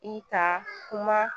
I ka kuma